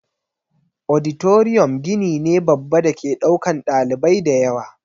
Auditorium gini ne babba dake ɗaukan ɗalibai dayawa